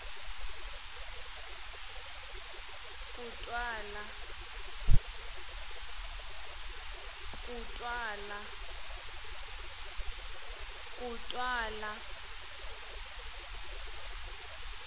kutwala